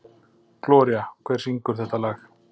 Gloría, hver syngur þetta lag?